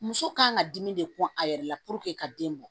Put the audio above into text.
Muso kan ka dimi de kun a yɛrɛ la ka den bɔ